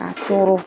A toro